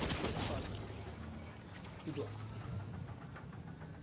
As duas partes se doar.